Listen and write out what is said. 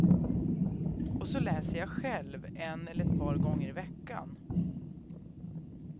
Och så läser jag själv, en eller ett par gånger i veckan.